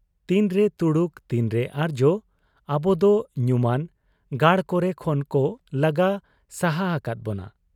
ᱛᱤᱱᱨᱮ ᱛᱩᱲᱩᱠ ᱛᱤᱱᱨᱮ ᱟᱨᱡᱭᱚ ᱟᱵᱚᱫᱚ ᱧᱩᱢᱟᱱ ᱜᱟᱲ ᱠᱚᱨᱮ ᱠᱷᱚᱱ ᱠᱚ ᱞᱟᱜᱟ ᱥᱟᱦᱟ ᱟᱠᱟᱫ ᱵᱚᱱᱟ ᱾